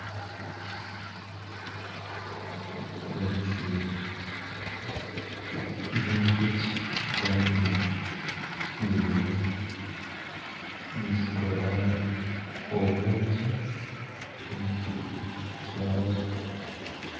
Ezi n'enjoki kandi zirimu nizikora obwoki omu kiju kyazo